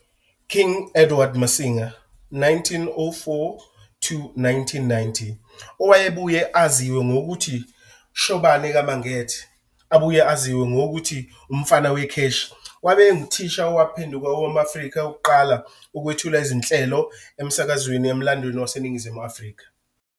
King Edward Masinga, 1904- 1990, owayebuye aziwe ngokuthi Shobane ka Mangethe abuye azinwe ngokuthi Umfana weKheshi wabe enguthisha owaphenduka owom-Afrika wokuqala ukwethula izinhlelo izinhlelo emsakazweni emlandweni waseNingizimu Afrika.